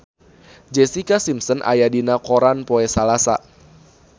Jessica Simpson aya dina koran poe Salasa